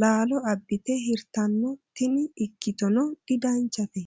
laalo abbite hirtanno tini ikkittono didanchate.